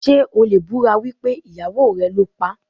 Ṣé o lè búra wípé ìyàwó rẹ̀ ló paá?